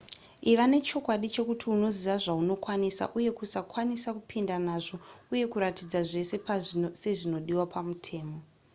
iva nechokwadi chekuti unoziva zvaunokwanisa uye kusakwanisa kupinda nazvo uye kuratidza zvese sezvinodiwa pamutemo